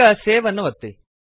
ಈಗ ಸೇವ್ ಅನ್ನು ಒತ್ತಿ